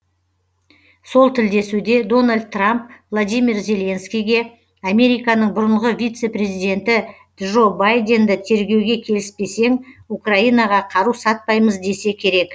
сол тілдесуде дональд трамп владимир зеленскийге американың бұрынғы вице президенті джо байденді тергеуге келіспесең украинаға қару сатпаймыз десе керек